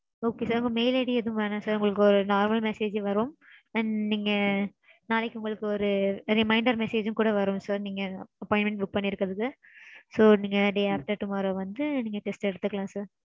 Okay sir உங்க mail ID எதுவும் வேண்டாம் sir. உங்களுக்கு ஒரு normal message வரும். நாளைக்கு உங்களுக்கு ஒரு reminder message உம் கூட வரும் sir நீங்க appointment book பண்ணிருக்கறதுக்கு. So நீங்க the day after tomorrow வந்து நீங்க test எடுத்துக்கலாம் sir.